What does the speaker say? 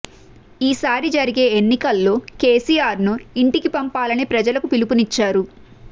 ఈసారి జరిగే ఎన్నికల్లో కేసీ ఆర్ను ఇంటికి పంపాలని ప్రజలకు పిలుపునిచ్చారు